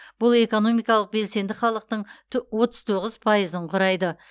бұл экономикалық белсенді халықтың то отыз тоғыз пайызын құрайды